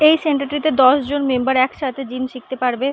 এই সেন্টার টিতে দশ জন মেম্বার একসাথে জিম শিখতে পারবে।